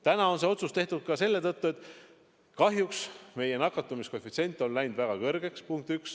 Täna on see otsus tehtud ka selle tõttu, et kahjuks meie nakatumiskoefitsient on läinud väga kõrgeks.